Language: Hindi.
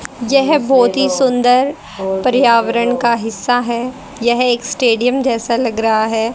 यह बहुत ही सुंदर पर्यावरण का हिस्सा है। यह एक स्टेडियम जैसा लग रहा है।